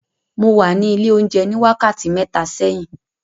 Mo wà ní ilé oúnjẹ ní wákàtí mẹ́ta sẹ́yìn.